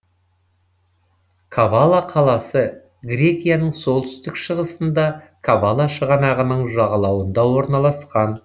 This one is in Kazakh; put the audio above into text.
кавала қаласы грекияның солтүстік шығысында кавала шығанағының жағалауында орналасқан